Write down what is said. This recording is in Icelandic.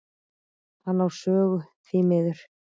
Hann á sögu, því miður.